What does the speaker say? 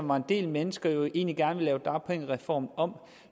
var en del mennesker jo egentlig gerne ville lave dagpengereformen om